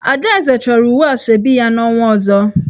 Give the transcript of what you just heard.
Adaeze choro uwe Asoebi ya n'onwa ozo.